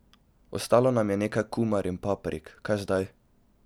Ostalo nam je nekaj kumar in paprik, kaj zdaj?